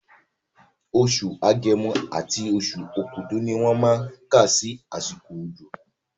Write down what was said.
Oṣù Agẹmọ àti oṣù Okúdù ni wọ́n má kà sí àsìkò òjò